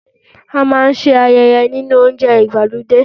A máa ń ṣe ayẹyẹ nílé oúnjẹ ìgbàlódé.